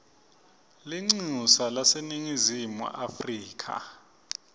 lelincusa laseningizimu afrika